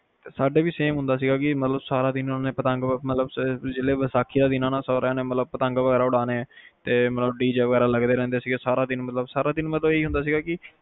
ਸਾਡੇ ਵੀ ਸੇਮ ਹੁੰਦਾ ਸੀਗਾ ਜਿਵੇ ਸਾਰਾ ਦਿਨ ਪਤੰਗ ਮਤਲਬ ਵੈਸਾਖੀ ਵਾਲੇ ਦਿਨ ਸਾਰਿਆਂ ਨੇ ਪਤੰਗ ਉਡਾਉਣੇ ਤੇ ਮਤਲਬ DJ ਵਗੈਰਾ ਲੱਗੇ ਰਹਿਣੇ ਸੀਗੇ ਸਾਰਾ ਦਿਨ, ਸਾਰਾ ਦਿਨ ਮਤਲਬ ਸਾਰਾ ਦਿਨ